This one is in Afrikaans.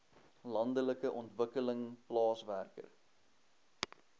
landelike ontwikkeling plaaswerker